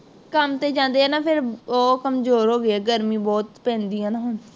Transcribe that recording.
ਕੰੰਮ ਤੇ ਜਾਂਦੇ ਨਾ ਫੇਰ, ਉਹ ਕਮਜ਼ੋਰ ਹੋ ਗਏ ਆ, ਗਰਮੀ ਬਹੁਤ ਪੈਂਦੀ ਹੈ ਨਾ ਹੁਣ,